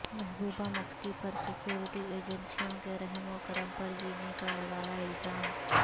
محبوبہ مفتی پر سیکورٹی ایجنسیوں کے رحم و کرم پر جینے کا لگایا الزام